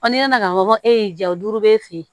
n'i nana ka bɔ e y'i ja o duuru b'e fe yen